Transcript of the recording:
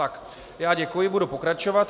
Tak já děkuji, budu pokračovat.